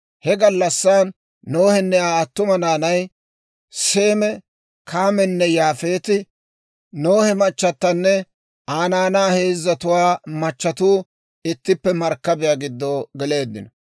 He gallassan Nohenne Aa attuma naanay, Seeme, Kaamenne Yaafeeti, Nohe machatanne Aa naanaa heezzatuwaa machatuu ittippe markkabiyaa giddo geleeddino.